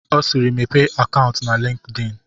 Ọ siiri, Mepee akaụntụ na LinkedIn!